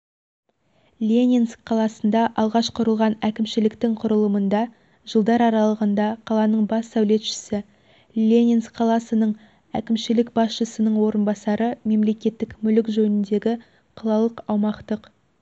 ленинск қаласында алғаш құрылған әкімшіліктің құрылымында жылдар аралығында қаланың бас сәулетшісі ленинск қаласының әкімшілік басшысының орынбасары мемлекеттік мүлік жөніндегі қалалық аумақтық